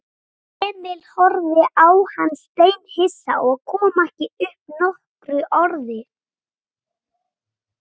Emil horfði á hann steinhissa og kom ekki upp nokkru orði.